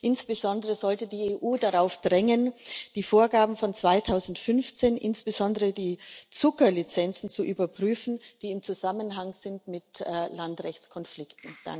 Insbesondere sollte die EU darauf drängen, die Vorgaben von 2015, insbesondere die Zucker Lizenzen, zu überprüfen, die im Zusammenhang sind mit Landrechtskonflikten.